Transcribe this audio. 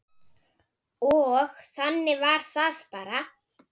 Og þannig var það bara.